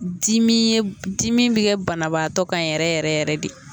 Dimi ye dimi bi kɛ banabaatɔ kan yɛrɛ yɛrɛ yɛrɛ de